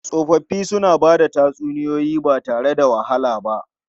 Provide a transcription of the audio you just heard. Tsofaffi suna ba da tatsuniyoyi ba tare da wahala ba.